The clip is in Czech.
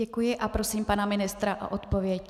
Děkuji a prosím pana ministra o odpověď.